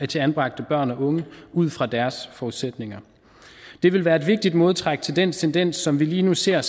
til anbragte børn og unge ud fra deres forudsætninger det vil være et vigtigt modtræk til den tendens som vi lige nu ser